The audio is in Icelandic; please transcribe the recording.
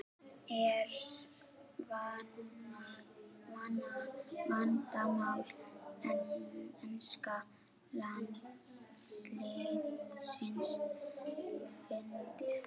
Er vandamál enska landsliðsins fundið?